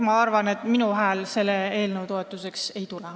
Ma arvan, et minu häält selle eelnõu toetuseks ei tule.